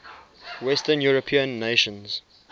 western european nations